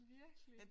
Virkelig